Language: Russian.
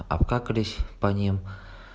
обкакались по ним